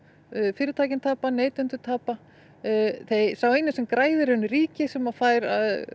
fyrirtækin tapa neytendur tapa sá eini sem græðir í raun er ríkið sem fær